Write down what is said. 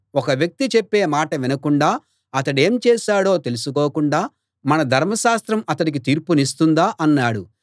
ఒక వ్యక్తి చెప్పే మాట వినకుండా అతడేం చేశాడో తెలుసుకోకుండా మన ధర్మశాస్త్రం అతడికి తీర్పు తీరుస్తుందా అన్నాడు